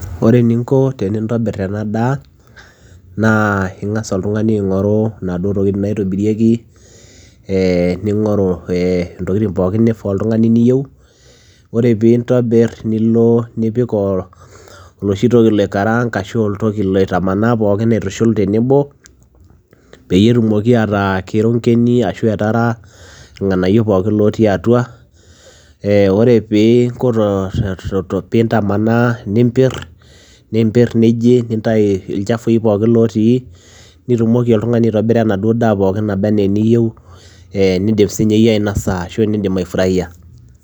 Ore eninko tenintobirr ena daa naa ing'as oltung'ani aing'oru inaduo tokitin naitobirieki ee ning'oru ntokitin pookin nifaa oltung'ani niyieu ore piintobirr nilo nipik oloshi toki loikaraanga ashu oloshi toki loitamanaa aitushul pookin tenebo peyie etumoki ataa kerongeni arashu etara irng'anayio pookin lootii atua ore pee inko piintamanaa niimpirr niji nintayu ilchafui pookin lootii nitumoki aitobira enaduoo daa pookin nabaa enaa eniyieu ee niidim sininye iyie ainasa arashu aifuraia.